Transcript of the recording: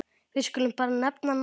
Við skulum bara nefna nafnið.